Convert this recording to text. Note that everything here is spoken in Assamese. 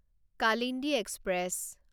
কালিন্দী এক্সপ্ৰেছ